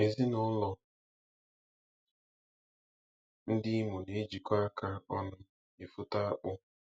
Ezinụlọ ndị Imo na-ejikọ aka ọnụ efote akpụ